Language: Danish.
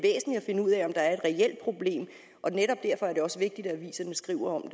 finde ud af om der er et reelt problem og netop derfor er det også vigtigt at aviserne skriver om